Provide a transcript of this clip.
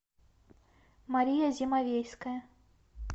мария зимовейская